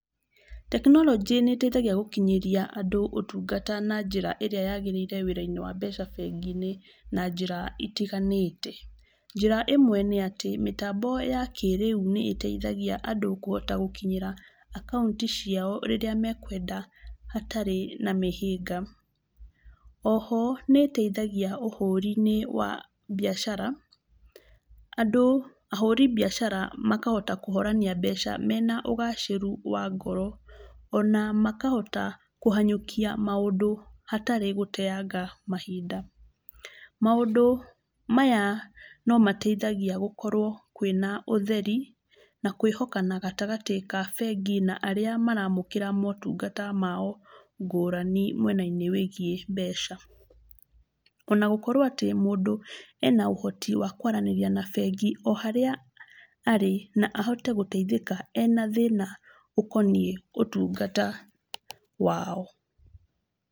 Tekinoronjĩ nĩteithagia gũkinyĩria andũ ũtungata na njĩra ĩrĩa yagĩrĩire wĩra-inĩ wa mbeca bengi-inĩ, na njĩra itiganĩte. Njĩra ĩmwe nĩ atĩ, mĩtambo ya kĩrĩu nĩ ĩteithagia andũ kũhota gũkinyĩra akaunti ciao rĩrĩa mekwenda hatarĩ na mĩhĩnga. Oho nĩ ĩteithagia ũhũri-inĩ wa biacara, andũ ahũri biacara makahota kũhorania mbeca mena ũgacĩru wa ngoro, ona makahota kũhanyũkia maũndũ hatarĩ gũteanga mahinda. Maũndũ maya no mateithagia gũkorwo kwĩna ũtheri, na kwĩhokana gatagatĩ ka bengi na arĩa maramũkĩra motungata mao ngũrani mwena-inĩ wĩgiĩ mbeca. Ona gũkorwo atĩ mũndũ ena ũhoti wa kwaraníĩria na bengi o harĩa arĩ na ahote gũteithĩka ena thĩna ũkoniĩ ũtungata wao.